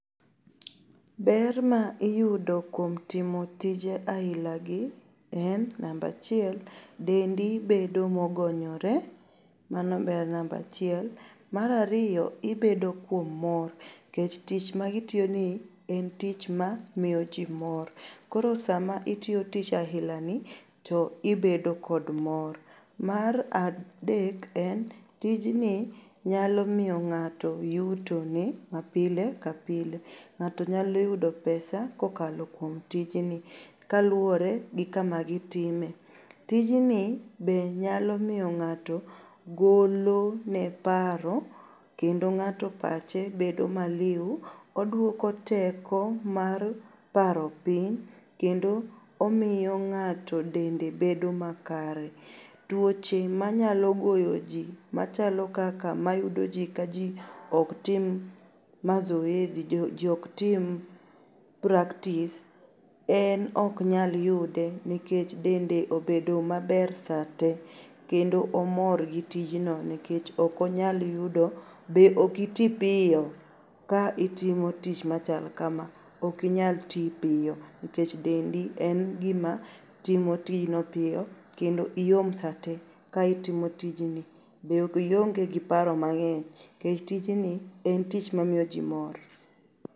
Ber ma iyudo kuom timo tije ailagi en namba achiel dendi bedo mogonyore mano ber namba achiel. Mar ariyo ibedo kuom mor kech tichma gitiyoni en tich ma miyo jii mor. Koro sama itiyo tich ailani to ibedo kod mor. Mar adek en tijni nyalo miyo ng'ato yutone mapile ka pile.Ng'ato nyaloyudo pesa kokalo kuom tijni kaluore gi kama gitime. Tijni be nyalo miyo ng'ato golone paro kendo ng'ato pache bedo maliu. Oduoko teko mar paro piny kendo omiyo ng'ato dende bedo makare. Tuoche manyalo goyo jii machalo kaka, mayudo jiii ka jii oktim mazoezi jii oktim practice en oknyal yude nekech dende obedo maber saa te kendo omor gi tijno nekech okonyal yudo.Be okitii piyo ka itimo tich machal kama. Okinyal tii piyo nekech dendi en gima timo tijno piyo kendo iom saa te ka itimo tijni be ionge gi paro mang'eny kech tijni en tich mamiyo jii mor.